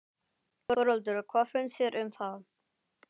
Þórhildur: Hvað finnst þér um það?